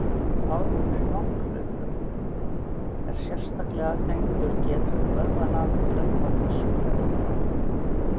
árangur í langhlaupum er sterklega tengdur getu vöðvanna til að nota súrefni